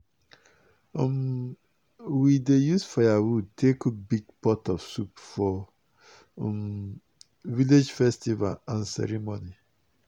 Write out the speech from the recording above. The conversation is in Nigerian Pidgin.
um we dey use firewood take cook big pot of soup for um village festival and ceremony.